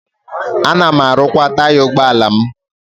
Ana m arụkwa taya ụgbọala m.